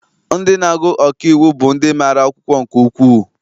Ndị na-agụ ọkaiwu bụ ndị mara akwụkwọ nke ukwuu.